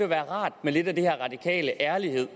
være rart med lidt af den her radikale ærlighed